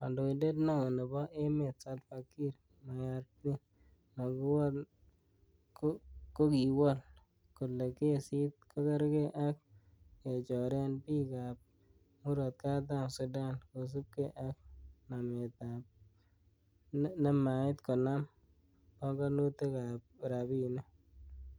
Kandoindet neo nebo emet, Salvaa Kiir Mayardit, kokiwol kole kesit kogergee ak kechoren bik ab Murot Katam Sudan, kosiibge ak nemait konam pongonutik ab rabinik.